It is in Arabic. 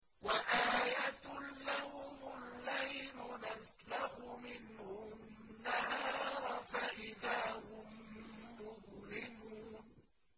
وَآيَةٌ لَّهُمُ اللَّيْلُ نَسْلَخُ مِنْهُ النَّهَارَ فَإِذَا هُم مُّظْلِمُونَ